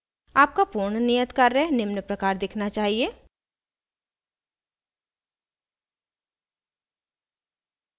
आपका पूर्ण नियत कार्य निम्न प्रकार दिखना चाहिए